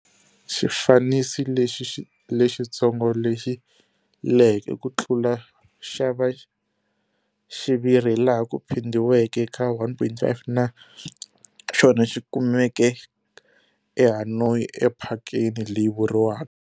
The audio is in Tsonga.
Xifaniso lexi lexitsongo, lexi leheke ku tlula xa xiviri hilaha ku phindhiweke ka 1,5 na xona xi kumeka eHanoi ephakeni leyi vuriwaka.